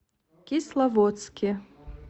кисловодске